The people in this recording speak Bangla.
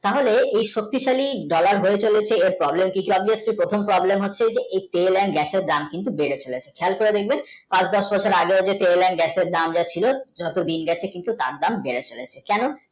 তাহলে এই শক্তিশালী dollar হয়ে চলেছে এর problem কি এর প্রথম problem হচ্ছে যে এই tell and gass এর দাম কিন্তু বেড়ে চলেছে খেয়াল করে দেখবেন পাঁচ দশ বছর আগে যে তেল and গ্যাসের দাম যা ছিল যত দিন যাচ্ছে তার দাম কিন্তু বেড়ে চলেছে কেন